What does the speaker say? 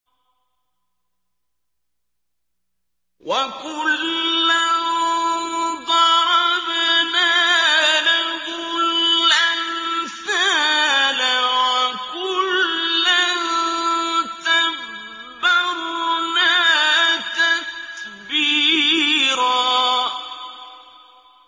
وَكُلًّا ضَرَبْنَا لَهُ الْأَمْثَالَ ۖ وَكُلًّا تَبَّرْنَا تَتْبِيرًا